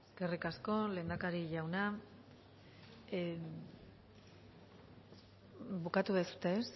eskerrik asko lehendakari jauna bukatu dezue ezta